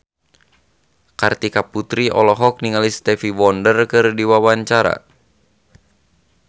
Kartika Putri olohok ningali Stevie Wonder keur diwawancara